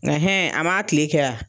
Nga a m'a tile kɛ